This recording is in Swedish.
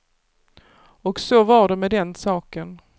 Och så var det med den saken.